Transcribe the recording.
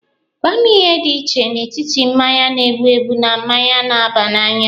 Gwa mụ ihe dị iche n'etiti mmanya na-ebu ebu na mmanya na-aba n'anya.